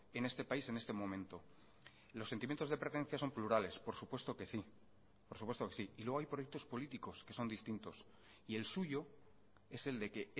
en este país y en este momento los sentimientos de pertenencia son plurales por supuesto que sí y luego hay proyectos políticos que son distintos el suyo es el de que